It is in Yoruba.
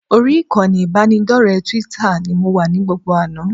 Orí ìkànnì ìbánidọ́rẹ̀ẹ́ Twitter ni mo wà ní gbogbo àná